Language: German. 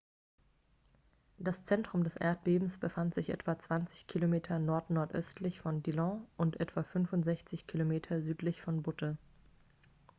das zentrum des erdbebens befand sich etwa 20 km 15 meilen nordnordöstlich von dillon und etwa 65 km 40 meilen südlich von butte